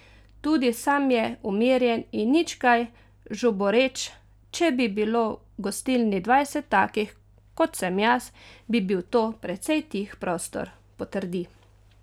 Tudi sam je umirjen in nič kaj žuboreč: 'Če bi bilo v gostilni dvajset takih, kot sem jaz, bi bil to precej tih prostor,' potrdi.